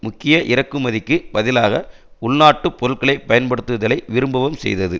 முக்கிய இறக்குமதிக்கு பதிலாக உள்நாட்டுப் பொருட்களை பயன்படுத்துதலை விரும்பவும் செய்தது